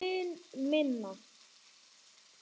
Mun minna.